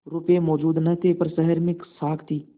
रुपये मौजूद न थे पर शहर में साख थी